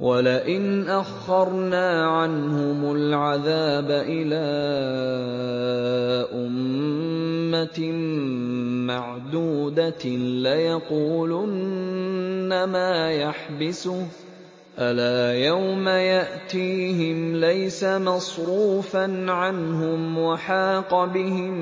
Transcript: وَلَئِنْ أَخَّرْنَا عَنْهُمُ الْعَذَابَ إِلَىٰ أُمَّةٍ مَّعْدُودَةٍ لَّيَقُولُنَّ مَا يَحْبِسُهُ ۗ أَلَا يَوْمَ يَأْتِيهِمْ لَيْسَ مَصْرُوفًا عَنْهُمْ وَحَاقَ بِهِم